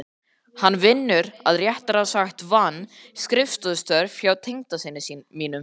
Hann vinnur- eða réttara sagt vann- skrifstofustörf hjá tengdasyni mínum